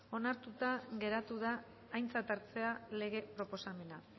onartuta geratu da aintzat hartzea lege proposamena